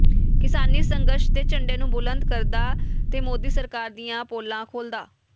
ਕਿਸਾਨੀ ਸੰਘਰਸ਼ ਦੇ ਝੰਡੇ ਨੂੰ ਬੁਲੰਦ ਕਰਦਾ ਤੇ ਮੋਦੀ ਸਰਕਾਰ ਦੀਆਂ ਪੋਲਾਂ ਖੋਲ੍ਹਦਾ ਡਾ